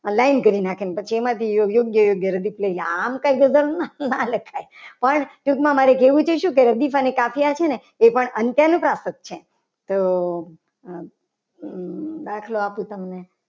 Line કરી નાખી. અને પછી એમાંથી યોગ્ય યોગ્ય આમ કઈ વર્ણાનુપ્રાસ ના લખાય. પણ ટૂંકમાં મારે જોવું તું શું અને કાઠિયાર છે. ને એ પણ અંત્યાનુપ્રાસ જ છે. તો દાખલો આપું તમને